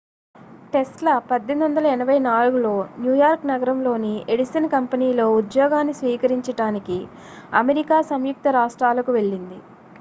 Tesla 1884లో New York నగరంలోని Edison కంపెనీలో ఉద్యోగాన్ని స్వీకరించడానికి అమెరికా సంయుక్త రాష్ట్రాలకు వెళ్లింది